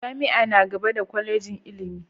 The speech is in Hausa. Jami'a na gaba da Kwallejin ilimi.